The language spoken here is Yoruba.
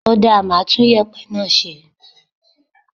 Ó dáa, màá tún yèpẹ̀ náà sẹ́.